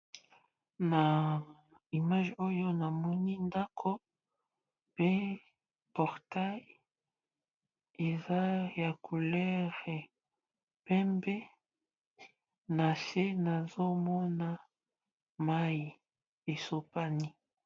Na image oyo namoni ndako pe portai eza ya coulere pembe na se nazomona mai esopani.